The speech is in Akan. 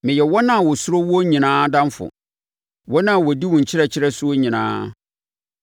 Meyɛ wɔn a wɔsuro woɔ nyinaa adamfo, wɔn a wɔdi wo nkyerɛkyerɛ soɔ nyinaa.